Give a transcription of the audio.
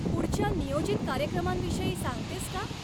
पुढच्या नियोजित कार्यक्रमांविषयी सांगतेस का?